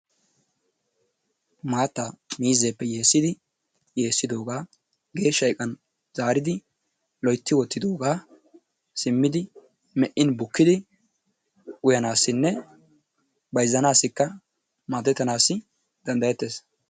maataa miizzeeppe yeessidi yeesidoogaa geeshsha iqqan zaaridi loytti wottidoogaa simmidi meqqin buqqidi uyanaasinne bayzzanaasi maadettanaassi dandayetees.